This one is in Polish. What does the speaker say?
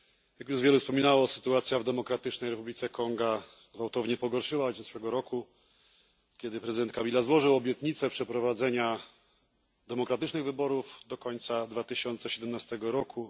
Jak już wielu wspominalo, sytuacja w Demokratycznej Republice Konga gwałtownie pogorszyła się od zeszłego roku, kiedy prezydent Kabila złożył obietnicę przeprowadzenia demokratycznych wyborów do końca 2017 roku.